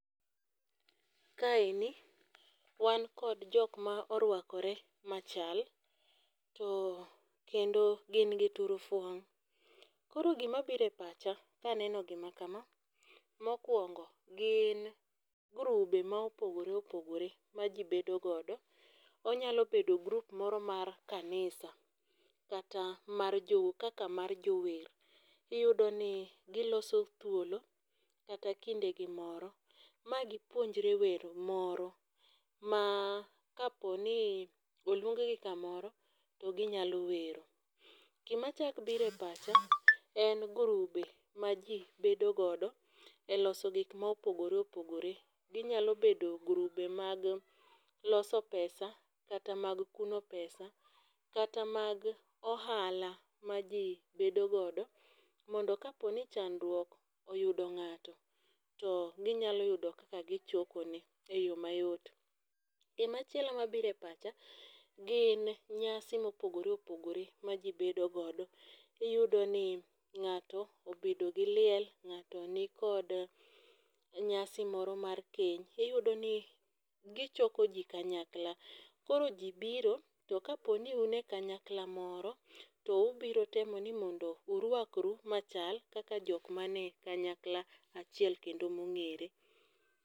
Ka eni, wan kod jok ma oruakore machal kendo gin gi turufuong'.Koro gima biro e pacha ka aneno gima kama, mokwongo, gin grube ma opogoreopogore ma ji bedogodo. Onyalo bedo group moro mar kanisa kata kaka mar jower. Iyudo ni giloso thuolo kata kindegi moro ma gipuonjre wer moro ma kapo ni oluonggi kamoro, to ginyalo wero. Gima chak biro e pacha , en grube ma ji bedogodo e loso gik ma opogoreopogore. Ginyalo bedo grube mag loso pesa, kata mag kuno pesa, kata mag ohala ma ji bedogodo mondo ka poni chandruok oyudo ng'ato, to ginyalo yudo kaka gichokone e yoo mayot. Gima chielo mabiro e pacha , gin nyasi mopogoreopogore ma jii bedo godo. Iyudo ni, ng'ato obedo gi liel, ng'ato ni kod nyasi moro mar keny, iyudo ni gichoko ji kanyakla. Koro ji biro, to ka poni un e kanyakla moro, to ubiro temo ni mondo urwakru machal kaka jok manie kanyakla achiel kendo mong'ere.